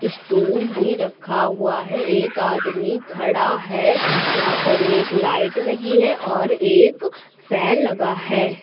Stool भी रखा हुआ है एक आदमी खड़ा है यहां पर एक लाइट लगी है और एक फैन लगा है।